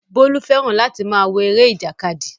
Bólú fẹ́ràn láti máa wo eré ìjàkadì